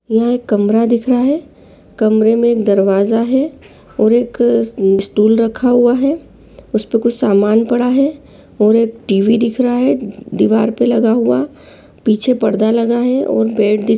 यह एक कमरा दिख रहा है कमरे में एक दरवाजा है और एक स्टूल स्टूल रखा हुआ है उसपे कुछ सामान पड़ा है और एक टीवी दिख रहा है दिवार पर लगा हुआ पीछे पर्दा लगा है और बेड दिख --